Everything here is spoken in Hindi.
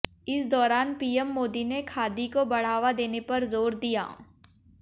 इस दौरान पीएम मोदी ने खादी को बढ़ावा देने पर जोर दिया